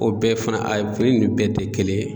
O bɛɛ fana fini ninnu bɛɛ tɛ kelen ye